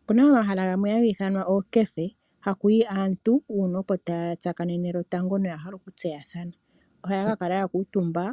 Opuna omahala gamwe haga ithanwa ookefe hono hakuyi aantu opo taya tsakanene lwotango noyahala oku tseya thana. Ohaya ka kala ya kuutumba